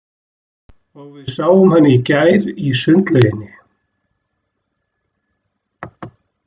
Og við sáum hann í gær í sundlauginni.